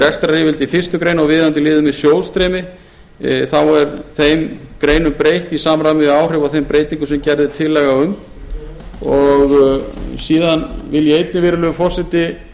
rekstraryfirliti í fyrstu grein og viðeigandi liðum með sjóðsstreymi er þeim greinum breytt í samræmi við áhrif og þeim breytingum sem gerð er tillaga um síðan vil ég einnig virðulegur forseti